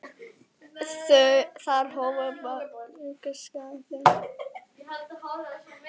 Þar hófu þau búskap sinn.